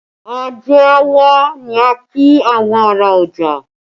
Ajé a wá ni a kí àwọn ará ọjà